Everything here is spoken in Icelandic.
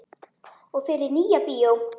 Og fer í Nýja bíó!